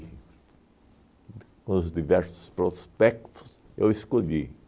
Com os diversos prospectos, eu escolhi.